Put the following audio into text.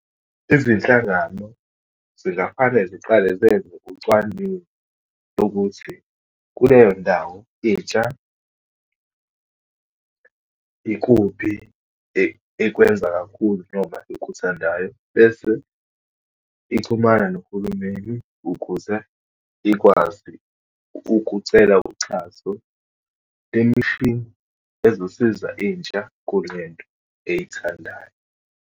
Izinhlangano zingafane ziqale zenze ucwaningo lokuthi, kuleyo ndawo intsha ikuphi ekwenza kakhulu, noma ekuthandayo. Bese ixhumana nohulumeni ukuze ikwazi ukucela uxhaso, lemishini ezosiza intsha kulento eyithandayo.